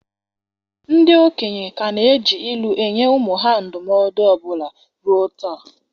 Ndị okenye ka na-eji ilu na-enye ụmụ ha ndụmọdụ ọbụna ruo taa.